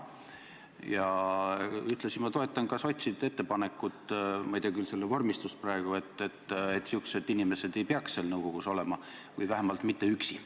Ja ühtlasi ma toetan sotside ettepanekut – ma ei tea küll selle vormistust praegu –, et sellised inimesed ei peaks seal nõukogus olema, või vähemalt mitte üksi.